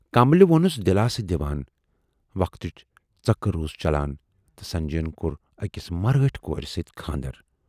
"کملہِ ووننس دِلاسہٕ دِوان۔ وَقتُک ژٔکر روٗد چلان تہٕ سنجے یَن کور ٲکِس مرٲٹھۍ کورِ سۭتۍ خاندر۔